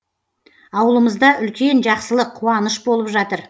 ауылымызда үлкен жақсылық қуаныш болып жатыр